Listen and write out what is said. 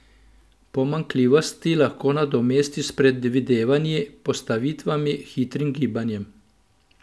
Pomanjkljivosti lahko nadomesti s predvidevanji, postavitvami, hitrim gibanjem.